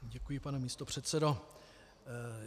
Děkuji, pane místopředsedo.